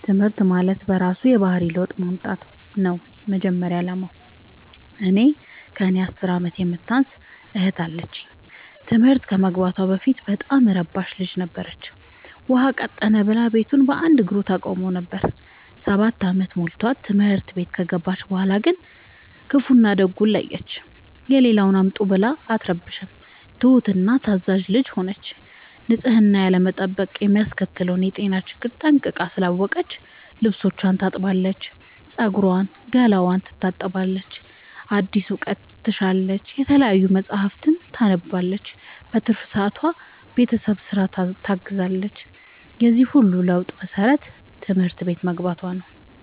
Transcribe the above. ትምህርት ማለት በእራሱ የባህሪ ለውጥ ማምጣት ነው የመጀመሪያ አላማው። እኔ ከእኔ አስር አመት የምታንስ እህት አለችኝ ትምህርት ከመግባቷ በፊት በጣም እረባሽ ልጅ ነበረች። ውሃ ቀጠነ ብላ ቤቱን በአንድ እግሩ ታቆመው ነበር። ሰባት አመት ሞልቶት ትምህርት ቤት ከገባች በኋላ ግን ክፋውን እና ደጉን ለየች። የሌለውን አምጡ ብላ አትረብሽም ትሁት እና ታዛዣ ልጅ ሆነች ንፅህናን ያለመጠበቅ የሚያስከትለውን የጤና ችግር ጠንቅቃ ስላወቀች ልብስቿን ታጥባለች ፀጉሯን ገላዋን ትታጠባለች አዲስ እውቀት ትሻለች የተለያዩ መፀሀፍትን ታነባለች በትርፍ ሰዓቷ ቤተሰብን ስራ ታግዛለች የዚህ ሁሉ ለውጥ መሰረቱ ትምህርት ቤት መግባቶ ነው።